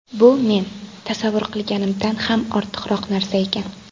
Bu men tasavvur qilganimdan ham ortiqroq narsa ekan.